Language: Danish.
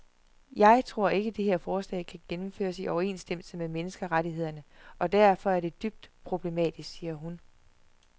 Jeg tror ikke, det her forslag kan gennemføres i overensstemmelse med menneskerettighederne og derfor er det dybt problematisk, siger hun.